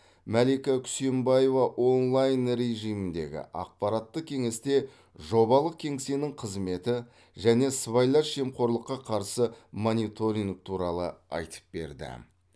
мәлика күсенбаева онлайн режиміндегі аппараттық кеңесте жобалық кеңсенің қызметі және сыбайлас жемқорлыққа қарсы мониторинг туралы айтып берді